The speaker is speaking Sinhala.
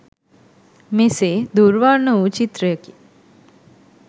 මෙසේ දුර් වර්ණ වූ චිත්‍රයකි.